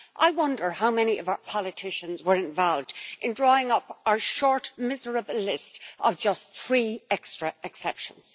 I wonder how many of our politicians were involved in drawing up our short, miserable list of just three extra exceptions.